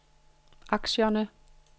aktierne